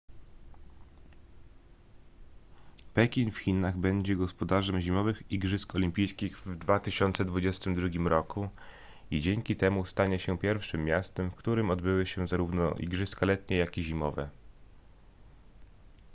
pekin w chinach będzie gospodarzem zimowych igrzysk olimpijskich w 2022 roku i dzięki temu stanie się pierwszym miastem w którym odbyły się zarówno igrzyska letnie jak i zimowe